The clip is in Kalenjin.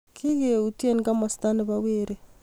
kikeyutye komosta ne bo werii